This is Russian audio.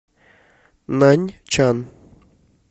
наньчан